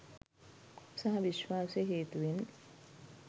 සහ විශ්වාසය හේතුවෙන්